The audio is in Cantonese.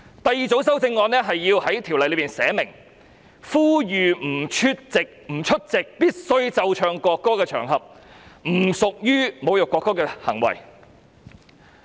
第二組修正案是訂明不出席須奏唱國歌的場合不構成侮辱國歌的行為。